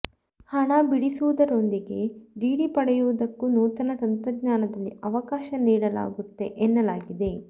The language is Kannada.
ಹಣ ಬಿಡಿಸುವುದರೊಂದಿಗೆ ಡಿಡಿ ಪಡೆಯುವುದಕ್ಕೂ ನೂತನ ತಂತ್ರಜ್ಞಾನದಲ್ಲಿ ಅವಕಾಶ ನೀಡಲಾಗುತ್ತೆ ಎನ್ನಲಾಗಿದೆ